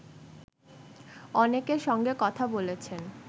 অনেকের সঙ্গেকথা বলেছেন